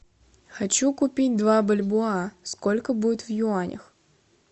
хочу купить два бальбоа сколько будет в юанях